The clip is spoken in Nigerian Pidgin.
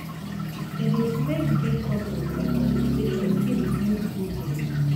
e de make big companies and organization fit build good name